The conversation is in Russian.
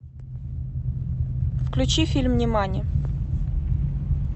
включи фильм нимани